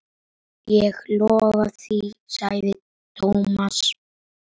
Ég lofa því sagði Thomas.